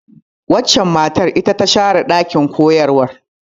Waccan matar ita ta share ɗakin koyarwa.